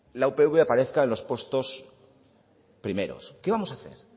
la upv aparezca en los puestos primeros qué vamos a hacer